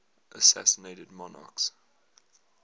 assassinated monarchs